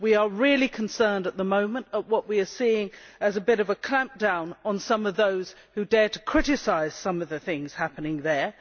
We are really concerned at the moment that what we are seeing is a bit of a clampdown on some of those who dare to criticise some of the things happening there.